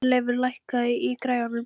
Hjörleifur, lækkaðu í græjunum.